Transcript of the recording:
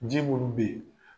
Ji munnu be ye